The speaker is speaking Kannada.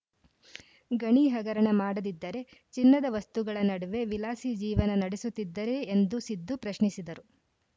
ಗಣಿ ಹಗರಣ ಮಾಡದಿದ್ದರೆ ಚಿನ್ನದ ವಸ್ತುಗಳ ನಡುವೆ ವಿಲಾಸಿ ಜೀವನ ನಡೆಸುತ್ತಿದ್ದರೇ ಎಂದು ಸಿದ್ದು ಪ್ರಶ್ನಿಸಿದರು